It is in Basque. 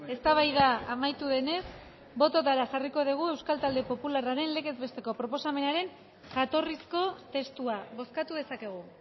eztabaida amaitu denez bototara jarriko dugu euskal talde popularraren legez besteko proposamenaren jatorrizko testua bozkatu dezakegu